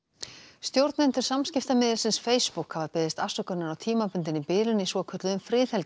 stjórnendur Facebook hafa beðist afsökunar á tímabundinni bilun í svokölluðum